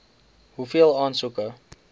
hoeveel aansoeke